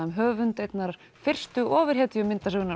um höfund einnar fyrstu